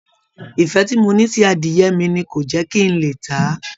Ìfẹ́ tí mo ní sí adìyẹ mi ni kò jẹ́ kí n lè tà á